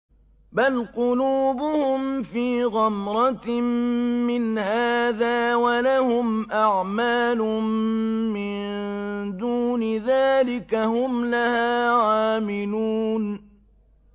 بَلْ قُلُوبُهُمْ فِي غَمْرَةٍ مِّنْ هَٰذَا وَلَهُمْ أَعْمَالٌ مِّن دُونِ ذَٰلِكَ هُمْ لَهَا عَامِلُونَ